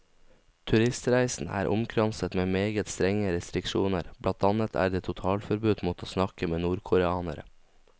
Turistreisen er omkranset med meget strenge restriksjoner, blant annet er det totalforbud mot å snakke med nordkoreanere.